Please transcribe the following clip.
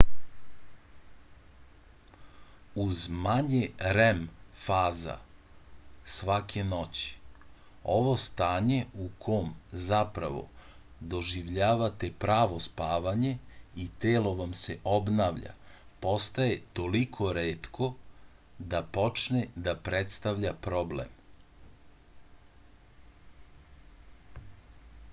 uz manje rem faza svake noći ovo stanje u kom zapravo doživljavate pravo spavanje i telo vam se obnavlja postaje toliko retko da počne da predstavlja problem